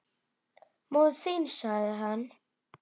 Móðir þín sagði hann.